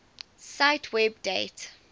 cite web date